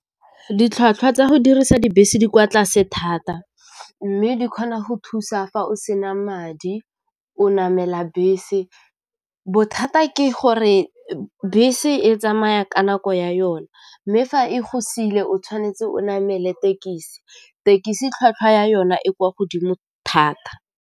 Ditlhwatlhwa tsa go dirisa dibese di kwa tlase thata, mme di kgona go thusa fa o sena madi o namela bese bothata ke go re bese e tsamaya ka nako ya yona mme fa e go sile o tshwanetse o namele tekisi, tekisi tlhwatlhwa ya yona e kwa godimo thata.